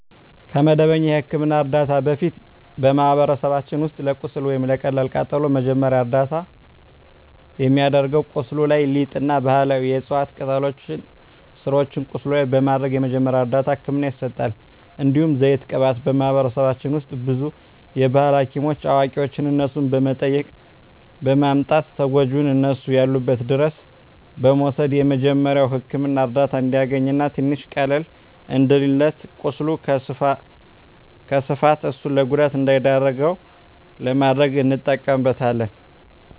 ከመደበኛ የሕክምና ዕርዳታ በፊት፣ በማኅበረሰባችን ውስጥ ለቁስል ወይም ለቀላል ቃጠሎ መጀመሪያ ደረጃ እርዳታ የሚደረገው ቁስሉ ላይ ሊጥ እና ባህላዊ የዕፅዋት ቅጠሎችን ስሮችን ቁስሉ ላይ በማድረግ መጀመሪያ እርዳታ ህክምና ይሰጣል። እንዲሁም ዘይት ቅባት በማህበረሰባችን ውስጥ ብዙ የባህል ሀኪሞች አዋቂዋች እነሱን በመጠየቅ በማምጣት ተጎጅውን እነሱ ያሉበት ድረስ በመውሰድ የመጀሪያዉ ህክምና እርዳታ እንዲያገኝ እና ትንሽ ቀለል እንዲልለት ቁስሉ ከስፋፋት እሱን ለጉዳት እንዳይዳርገው ለማድረግ እንጠቀምበታለን።